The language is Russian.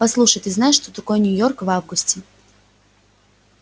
послушай ты знаешь что такое нью-йорк в августе